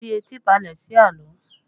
Fi etí balẹ̀ sí àlọ́!